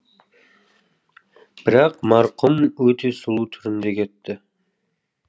бірақ марқұм өте сұлу түрінде кетті